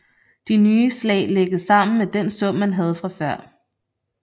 De nye slag lægges sammen med den sum man havde fra før